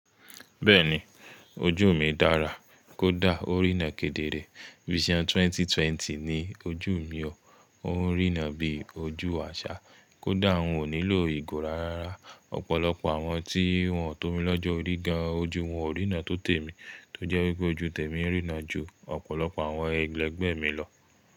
Bẹ́ẹ̀ni, ojú mi dára, kódà ó rína kedere. Vision 2020 ni ojú mi o, ó ń rína bí ojú àṣà kódà n ò nílò ìgò rara. Ọ̀pọ̀lọpọ̀ àwọn tí wọ́n tó mi lọ́jọ́ orí gan-an ojú wọn ò rína tó tèmi tó jẹ́ wípé ojú tèmi ń rína ju ọ̀pọ̀lọpọ̀ àwọn ẹlẹ́gbẹ́ mi lọ.